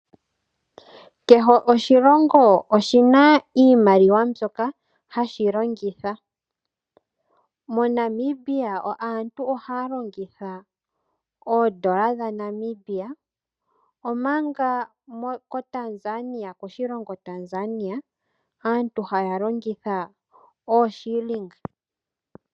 Kehe oshilongo oshina iimaliwa mbyoka hashi longitha. MoNamibia aantu ohaya longitha oodolla dhaNamibia, omanga koshilongo shaTanzania aantu ohaya longitha ooshiilinga.